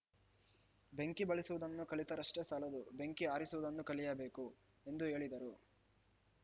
ಬೆಂಕಿ ಬಳಸುವುದನ್ನು ಕಲಿತರಷ್ಟೇ ಸಾಲದು ಬೆಂಕಿ ಆರಿಸುವುದನ್ನೂ ಕಲಿಯಬೇಕು ಎಂದು ಹೇಳಿದರು